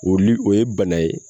O li o ye bana ye